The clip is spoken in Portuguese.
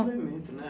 É um movimento, né?